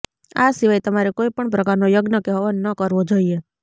આ સિવાય તમારે કોઈ પણ પ્રકારનો યજ્ઞ કે હવન ન કરવો જોઈએ